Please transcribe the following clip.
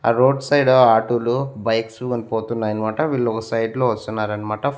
ఆ road side auto లు bikes పోతున్నాయన్మాట వీళ్ళు ఒగ సైడ్ లో వస్తున్నారన్మాట.